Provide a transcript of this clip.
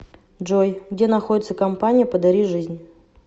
джой где находится компания подари жизнь